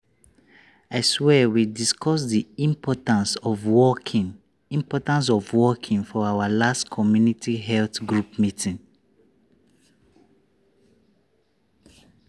i swear we discuss the importance of walking importance of walking for our last community health group meeting.